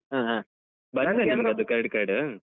ಹ ಹಾ ಬಂತಾ ನಿಮ್ಗೆ ಅದು Credit Card ?